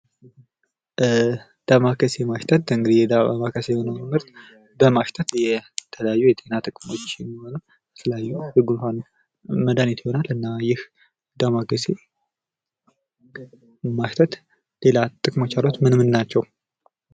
ዳማከሴ ማሽተት እንግዲህ የዳማከሴ የሆነውን ምርት በማሽተት የተለያዩ የጤና ጥቅሞች የተለያዩ የጉንፋን መድሃኒት ይሆናል እና ይህ ዳማከሴ ማሽተት ሌላ ጥቅሞች አሉት ምን ምን ናቸው ?